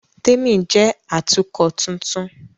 Témi jẹ́ Atukọ̀ tuntun